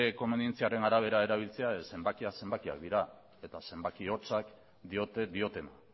komenientziaren arabera erabiltzea ez zenbakiak zenbakiak dira eta zenbaki hotza diote diotena